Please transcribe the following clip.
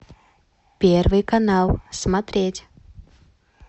первый канал смотреть